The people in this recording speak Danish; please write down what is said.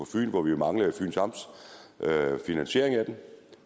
hvor vi jo manglede fyns amts finansiering af den